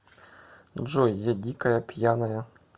джой я дикая пьяная